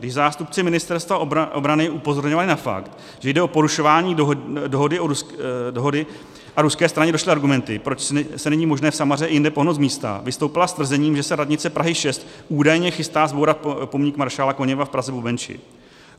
Když zástupci Ministerstva obrany upozorňovali na fakt, že jde o porušování dohody, a ruské straně došly argumenty, proč se není možné v Samaře i jinde pohnout z místa, vystoupila s tvrzením, že se radnice Prahy 6 údajně chystá zbourat pomník maršála Koněva v Praze-Bubenči.